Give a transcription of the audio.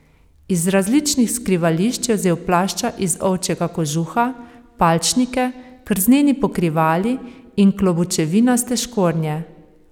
Iz različnih skrivališč je vzel plašča iz ovčjega kožuha, palčnike, krzneni pokrivali in klobučevinaste škornje.